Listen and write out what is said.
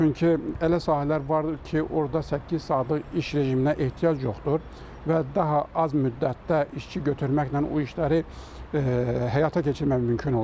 Çünki elə sahələr vardır ki, orada səkkiz saatlıq iş rejiminə ehtiyac yoxdur və daha az müddətdə işçi götürməklə o işləri həyata keçirmək mümkün olacaqdır.